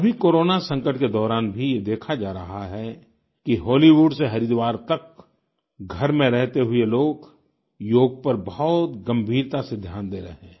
अभी कोरोना संकट के दौरान भी ये देखा जा रहा है कि हॉलीवुड से हरिद्वार तक घर में रहते हुए लोग योग पर बहुत गंभीरता से ध्यान दे रहे हैं